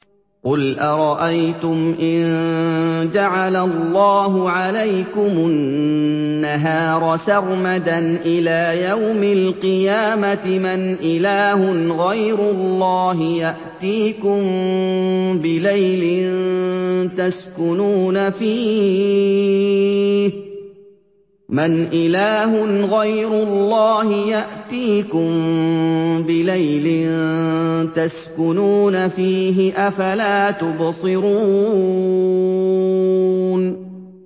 قُلْ أَرَأَيْتُمْ إِن جَعَلَ اللَّهُ عَلَيْكُمُ النَّهَارَ سَرْمَدًا إِلَىٰ يَوْمِ الْقِيَامَةِ مَنْ إِلَٰهٌ غَيْرُ اللَّهِ يَأْتِيكُم بِلَيْلٍ تَسْكُنُونَ فِيهِ ۖ أَفَلَا تُبْصِرُونَ